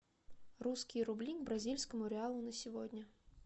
русские рубли к бразильскому реалу на сегодня